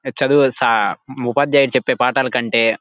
చదివేసి ఉపాద్యాదుడు చెప్పే పాఠాలు కంటే--